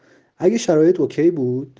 алиса ок